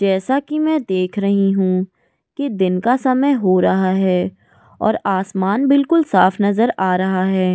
जैसा कि मैं देख रही हूं कि दिन का समय हो रहा है और आसमान बिल्कुल साफ नजर आ रहा है।